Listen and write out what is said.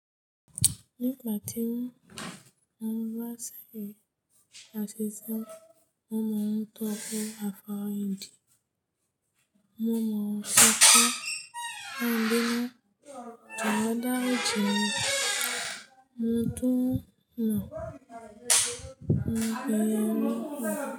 Nígbà tí mo ń bá ṣe àtẹ̀jíṣẹ́, mo mọ̀ ọ́n tó bí àfáàrí di, mo mọ̀ ọ́n ṣe kó ń bínú, kàn dá ri ji mi tún mọ̀ pé ó ní wò.